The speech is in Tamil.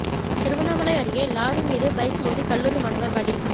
திருவண்ணாமலை அருகே லாரி மீது பைக் மோதி கல்லூரி மாணவர் பலி